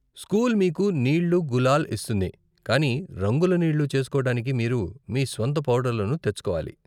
School మీకు నీళ్ళు, గులాల్ ఇస్తుంది, కానీ రంగుల నీళ్ళు చేసుకోవటానికి మీరు మీ స్వంత పౌడర్లను తెచ్చుకోవాలి.